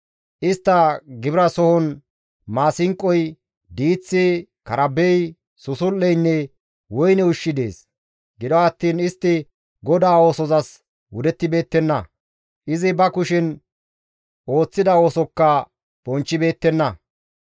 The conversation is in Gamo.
Istta gibirasohon maasinqoy, diiththi, karabey, susul7eynne woyne ushshi dees; gido attiin istti GODAA oosozas wudettibeettenna; izi ba kushen ooththida oosokka bonchchibeettenna.